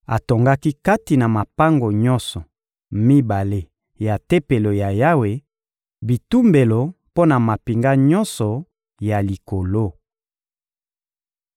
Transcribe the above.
Atongaki kati na mapango nyonso mibale ya Tempelo ya Yawe bitumbelo mpo na mampinga nyonso ya likolo.